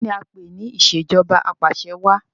Kìíní a ń pè ní ìsèjọba apàṣẹwà?